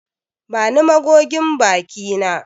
Bani magogin baki na.